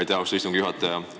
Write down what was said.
Aitäh, austatud istungi juhataja!